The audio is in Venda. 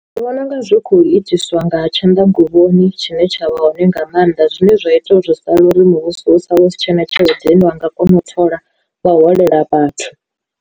Ndi vhona unga zwi khou itiswa nga tshanḓa nguvhoni tshine tsha vha hone nga maanḓa zwine zwa ita uri zwi sala uri muvhuso u sala u si tshena tshelede ine wa nga kona u thola vha holela vhathu.